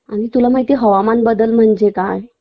आणि तुला माहितीए हवामान बदल म्हणजे काय